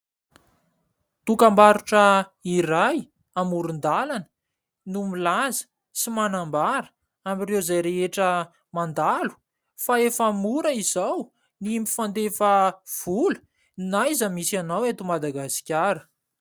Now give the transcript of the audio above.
Dokambarotra iray amoron-dàlana no milaza sy manambara amin'ireo izay rehetra mandalo, fa efa mora izao ny mifandefa vola na aiza misy anao eto Madagasikara.